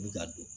Mi ka don